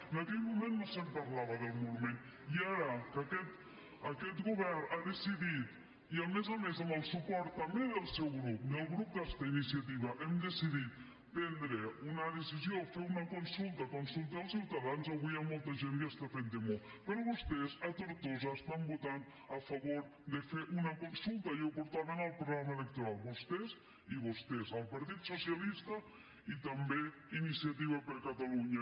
en aquell moment no se’n parlava del monument i ara que aquest govern ha decidit i a més a més amb el suport també del seu grup del grup on està iniciativa hem decidit prendre una decisió fer una consulta consultar els ciutadans avui hi ha molta gent que està fent demo però vostès a tortosa estan votant a favor de fer una consulta i ho portaven al programa electoral vostès i vostès el partit socialista i també iniciativa per catalunya